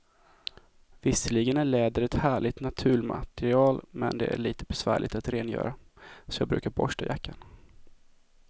Visserligen är läder ett härligt naturmaterial, men det är lite besvärligt att rengöra, så jag brukar borsta jackan.